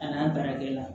A n'an baarakɛla